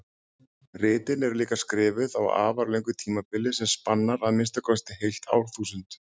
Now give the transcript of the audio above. Ritin eru líka skrifuð á afar löngu tímabili sem spannar að minnsta kosti heilt árþúsund.